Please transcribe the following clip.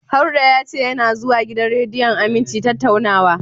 Harɗo ya ce yana zuwa gidan rediyon Aminci tattaunawa.